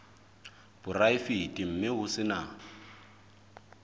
poraefete mme ho se na